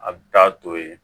A bɛ taa to yen